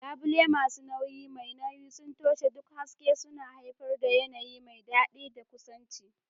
Labule masu nauyi mai nauyi sun toshe duk haske, suna haifar da yanayi mai daɗi da kusanci.